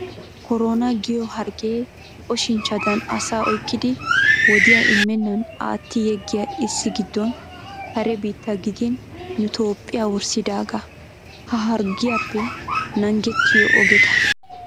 Koronaa giyo hargge oshinchchadan asaa oyikkidi wodiyaa immennan atti yeggiya issi giddon kare biittaa gidin nu Toophphiya worssidaagaa. Ha harggiyappe naagettiyo ogeta.